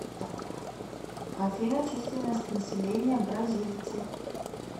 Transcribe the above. афина численность населения бразильцы